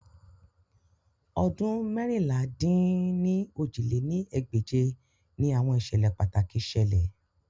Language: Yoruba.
Ọdun meérinlá-dín-ní-ojì lé ní ẹgbẹ́je ni awọn iṣẹlẹ pataki ṣẹlẹ